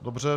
Dobře.